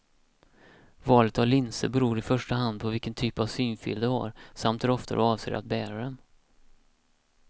Valet av linser beror i första hand på vilken typ av synfel du har, samt hur ofta du avser att bära dem.